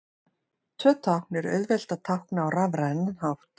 Tvö tákn er auðvelt að tákna á rafrænan hátt.